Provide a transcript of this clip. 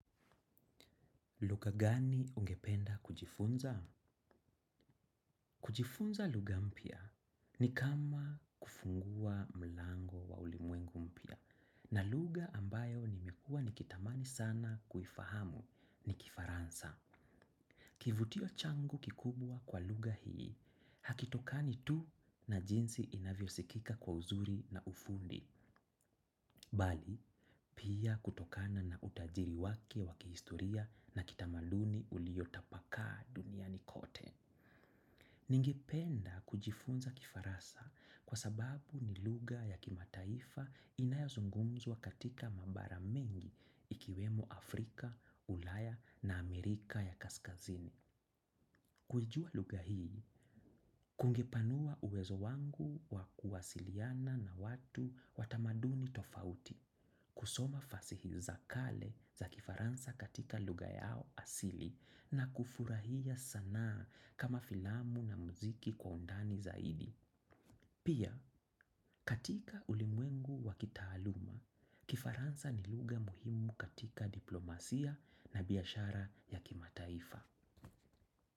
Luga gani ungependa kujifunza? Kujifunza luga mpya ni kama kufungua mlango wa ulimwengu mpya na luga ambayo nimekua nikitamani sana kufahamu ni kifaransa. Kivutio changu kikubwa kwa luga hii, hakitokani tu na jinsi inavyo sikika kwa uzuri na ufundi, bali, pia kutokana na utajiri wake wakihistoria na kitamaduni uliotapaka dunia nikote. Ningependa kujifunza kifaransa kwa sababu ni luga ya kimataifa inayazungunzwa katika mambara mengi ikiwemo Afrika, Ulaya na Amerika ya kaskazini. Kujua luga hii, kungepanua uwezo wangu wakuwasiliana na watu watamaduni tofauti, kusoma fasihi za kale za kifaransa katika luga yao asili na kufurahia sanaa kama filamu na muziki kwa undani zaidi. Pia, katika ulimwengu wakitaaluma, kifaransa ni lugha muhimu katika diplomasia na biyashara ya kimataifa.